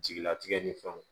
Jigilatigɛ ni fɛnw